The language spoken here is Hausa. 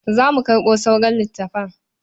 Za mu karɓo sauran littafan.